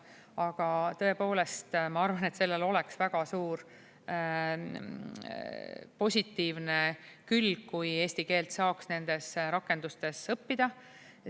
Aga tõepoolest, ma arvan, et sellel oleks väga suur positiivne külg, kui eesti keelt saaks nendes rakendustes õppida.